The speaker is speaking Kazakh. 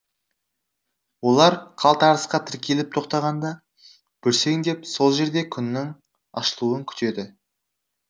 олар қалтарысқа тіркеліп тоқтағанда бүрсеңдеп сол жерде күннің ашылуын күтеді